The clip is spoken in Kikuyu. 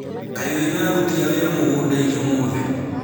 Kaĩ wĩna aruti a wĩra mũgũnda-inĩ ũmũthĩ?